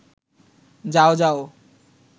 যাও যাও